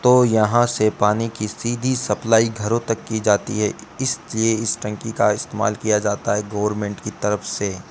तो यहां से पानी की सीधी सप्लाई घरों तक की जाती है इसलिए इस टंकी का इस्तेमाल किया जाता है गवर्नमेंट की तरफ से।